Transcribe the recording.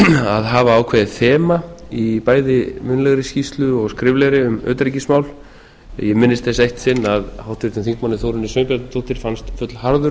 að hafa ákveðið þema í bæði munnlegri skýrslu og skriflegri um utanríkismál ég minnist þess eitt sinn að háttvirtur þingmaður þórunni sveinbjarnardóttur fannst fullharður